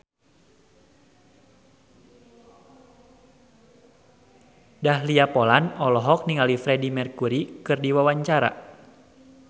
Dahlia Poland olohok ningali Freedie Mercury keur diwawancara